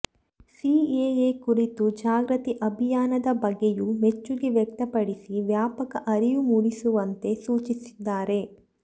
CAA ಕುರಿತ ಜಾಗೃತಿ ಅಭಿಯಾನದ ಬಗ್ಗೆಯೂ ಮೆಚ್ಚುಗೆ ವ್ಯಕ್ತಪಡಿಸಿ ವ್ಯಾಪಕ ಅರಿವು ಮೂಡಿಸುವಂತೆ ಸೂಚಿಸಿದ್ದಾರೆ